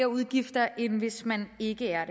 udgifter end hvis man ikke er